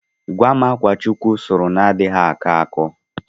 Gwam akwa Chukwu sụrụ na-anaghị akọ akọ?